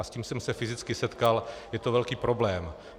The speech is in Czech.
A s tím jsem se fyzicky setkal, je to velký problém.